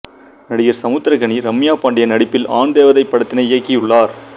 நடிகர் சமுத்திரக்கனி ரம்யா பாண்டியன் நடிப்பில் ஆண் தேவதை படத்தினை இயக்கியுள்ளார்